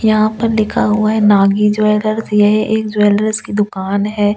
यहां पर दिखा हुआ है नागी ज्‍वेगर्स य ह एक ज्‍वेलर्स की दुकान है और ये --